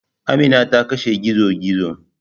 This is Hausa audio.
Amina ta kashe gizo-gizo.